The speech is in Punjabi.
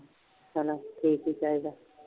ਠੀਕ ਹੀ ਚਾਹੀਦਾ